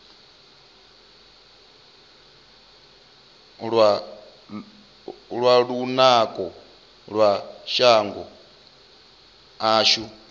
lwa lunako lwa shango ashu